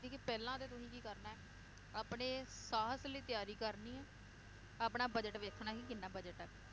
ਸੀ ਕਿ ਪਹਿਲਾਂ ਤੇ ਤੁਸੀਂ ਕੀ ਕਰਨਾ ਏ, ਆਪਣੇ ਸਾਹਸ ਲਈ ਤਿਆਰੀ ਕਰਨੀ ਏ, ਆਪਣਾ budget ਵੇਖਣਾ ਕਿ ਕਿੰਨਾ budget ਏ